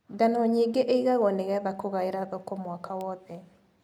Ngano nyingĩ ĩgagwo nĩgetha kũgaĩra thoko mwaka wothe.